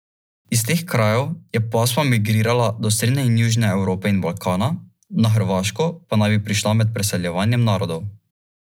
Iz teh krajev je pasma migrirala do srednje in južne Evrope in Balkana, na Hrvaško pa naj bi prišla med preseljevanjem narodov.